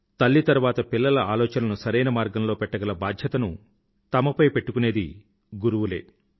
తల్లి తరువాత పిల్లల ఆలోచనలను సరైన మార్గంలో పెట్టగల బాధ్యతను తమపై పెట్టుకునేది గురువులే